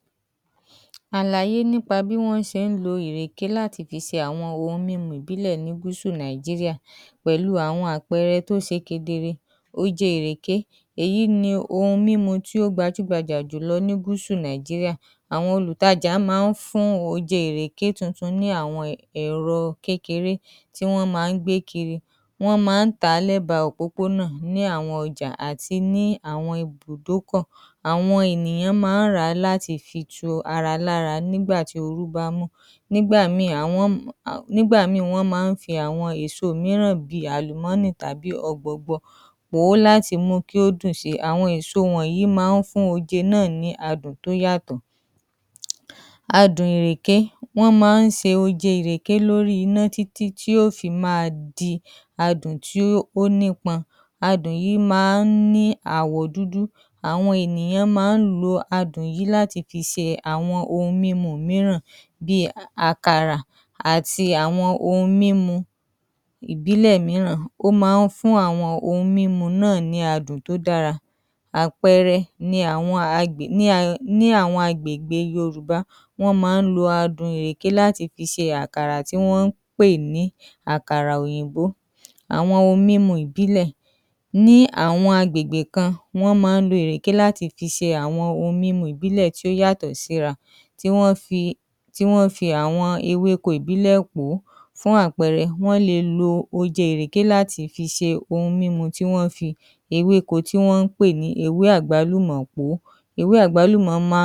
Àláyé nípa bí jíjẹ ìrèké ṣe yípadà tó lórí àkókò ní Gúsù Nàìjíríà, pàápàá jùlọ pẹ̀lú bí àwọn adùn mìíràn àti ṣúgà tí wọn ń ṣe ní ilé-iṣe ṣe wọlé. Ìgbà ibílẹ̀; ní ìgbà àtijọ́, kí àwọn ilé-iṣẹ́ tó bẹ̀rẹ̀ sí ṣe ṣúgà, ìrèké jẹ́ ọ̀kan lára ọkan lára àwọn adùn tí àwọn ènìyàn ń lò, wọ́n má a ń gbìn ín, wọ́n sì má a ń kórè rẹ̀ fúnra wọn, wọ́n má a ń jẹ ìrèké titun nígbà tí wọn bá ń kórè rẹ̀, wọ́n sì má a ń fún oje rẹ̀ pẹ̀lú àwọn ẹ̀rọ ìbílẹ̀ tí wọ́n fi igi ṣe, wọ́n má a ń lo oje ìrèké láti fi ṣe àwọn ounjẹ́ ìbílẹ̀ bí àkàrà àti ohun mímu ìbílẹ̀. Àpẹẹrẹ; àwọn àgbà má a ń lo oje ìrèké láti fi ṣe adun tí wọ́n má a ń fi ṣe àkàrà àti àwọn ohun mínu mìíràn. Ìgbà òde òní, pẹ̀lú bí ṣúgà tí wọ́n ń ṣe ní ilé-iṣé ṣe wọlé, àwọn ènìyan tí ń lo súgà yìí púpọ̀ si, ṣúgà yìí rọrùn láti rí ó sì má a ń gbówó díẹ̀. Àwọn ohun mímu tí wọ́n ń ṣe ní ilé-iṣẹ́ bí àwọn ohun mímu ẹ́lẹ́rìndòdò ti di ohun tí àwọn ènìyàn ń mu púpọ̀ si, àwọn ohun mímu wọ̀nyí má a ń ní ṣúgà púpọ̀, Àwọn adùn mìíràn bí oyin àti àwọn adún tí wọ́n ń ṣe ní ilé-iṣé ti di àwọn adùn tí àwọn ènìyàn ńlò. Àwọn adùn wọ̀nyí má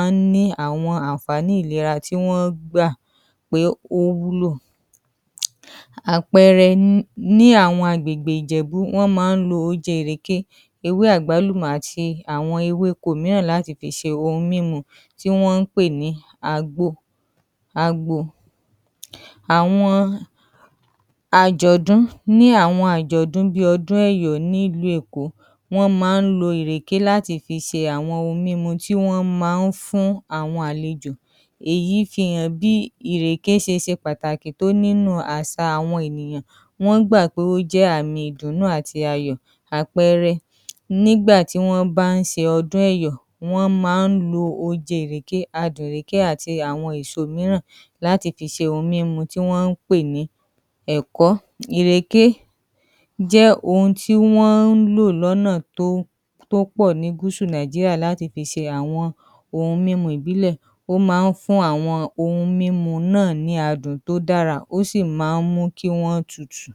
a ń ní àwọn àǹfààní ìlera tí wọ́n gbà pé ó wúlò, síbẹ̀ síbẹ̀ àdùn ìrèké sì ṣe pàtàkì. Pàápàá jùlọ gẹ́gẹ́ bí oúnjẹ òpópónà, àwọn ènìyàn má a ń ra ìrèké lẹ́ba òpópónà láti fi tu ara lára, wọ́n si má a ń lo oje ìrèké láti fi ṣe àwọn ohun mímú ìbílẹ̀ tí ó dára fún ìlera. Àpẹẹrẹ, àwọn olùtàjà má a ń fún oje ìrèké, wọn sì má a ń tà á lẹ́ba òpópónà, àwọn ènìyàn má a ń rà láti fi tu ara lára nígbà tí ooru bá mú. Àwọn ìyàtọ̀ pàtàkì; Nígbà àtijọ́, ìrèkè jẹ́ ọ̀kan lára àwọn adùn tó ṣe pàtàkì jùlọ, nígbà òde-òni, àwọn adùn mìíràn ti wọlé. Àwọn ohun mímu tí wọ́n ń ṣe ní ilé-iṣe ti di ohun mímu tí àwọn ènìyàn ń mu púpọ̀ si, èyí sì ti di lílo oje ìrèké kù díẹ̀, síbẹ̀ síbẹ̀ ìrèkésì ṣe pàtàkì nínú àṣà àwọn ènìyàn, pàápàá jùlọ ní àwọn àgbègbè kan, àwọn ènìyàn má a gbádùn ìrèké titun àti oje ìrèké, jíjẹ ìrèké ti yí padà, ṣùgbọ́n, ó sì ni ipa pàtàkì nínú àṣà àwọn ènìiyàn ní Gúsù Nàìjíríà.